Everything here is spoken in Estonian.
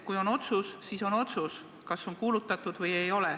Kui on otsus, siis on otsus, kas ta on välja kuulutatud või ei ole.